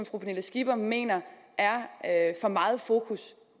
fru pernille skipper mener er for meget i fokus